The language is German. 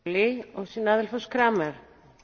Frau Präsidentin, Frau Kommissarin!